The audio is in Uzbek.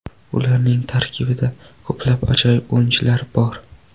Ularning tarkibida ko‘plab ajoyib o‘yinchilar bor.